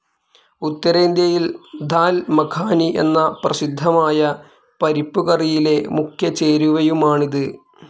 ഉത്തരേന്ത്യയിൽ ദാൽ മഖാനി എന്ന പ്രസിദ്ധമായ പരിപ്പുകറിയിലെ മുഖ്യചേരുവയുമാണിത്.